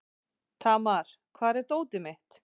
Tamar, hvar er dótið mitt?